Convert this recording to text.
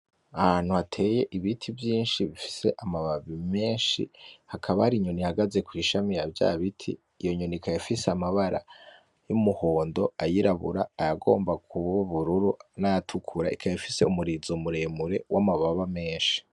Ahantu hateye ibiti vyinshi bifise amababi menshi , hakaba hari inyoni ihagazi kwishami yavyabiti iyonyoni ikaba ifise amabara yumuhondo ayirabura, ayagomba kuba ubururu, nayatukura ikaba ifise umurizo muremure wamababa menshi .